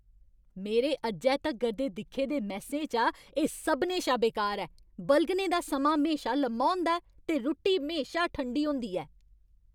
मेरे अज्जै तगर दे दिक्खे दे मैस्सें चा एह् सभनें शा बेकार ऐ । बलगने दा समां म्हेशा लम्मा होंदा ऐ ते रुट्टी म्हेशा ठंडी होंदी ऐ।